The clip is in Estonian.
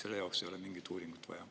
Selle jaoks ei ole mingit uuringut vaja.